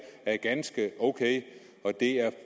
er ganske ok og det er